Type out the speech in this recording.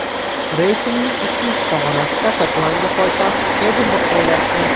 Reytingning ikkinchi pog‘onasida Shotlandiya poytaxti Edinburg joylashdi.